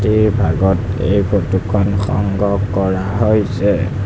ৰাতিৰ ভাগত এই ফটোখন সংগ্ৰহ কৰা হৈছে।